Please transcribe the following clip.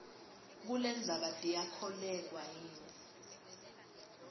kulendzaba tiyakholweka yini